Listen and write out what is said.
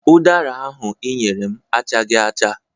Ụdara ahụ ị nyere m achaghị acha.